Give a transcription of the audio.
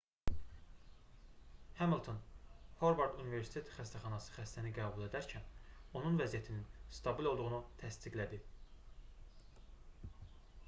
hamilton horvard universitet xəsətəxanası xəstəni qəbul edərkən onun vəziyyətinin stabil olduğunu təsdiqlədi